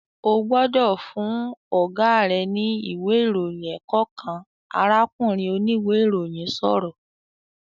"Ó gbọ́dọ̀ fún Ọ̀gá rẹ ní ìwé ìròyìn ẹ̀kọ́ kan!", arákùnrin oníwe ìròyìn sọ̀rọ̀